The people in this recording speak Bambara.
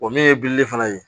O min ye bilili fana ye